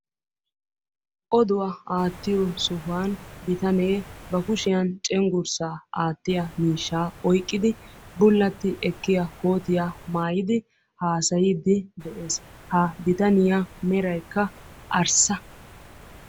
Oduwa aattiyo sohuwan bitane ba kushshiyan cenggurssaa aattiya miishshaa oyqqidi bulatti ekkiya kootiya maayidi haasayiidi de'ees, ha bitaniya meraykka arssa.